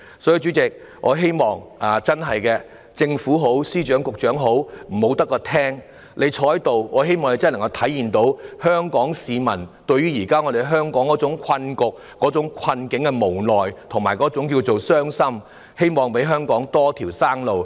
所以，主席，不論是政府、司長或局長，我希望他們不會只坐在席上聆聽，而是真的能夠明白香港市民對於香港現時的困局感到無奈和傷心，希望他們能給予香港一條生路。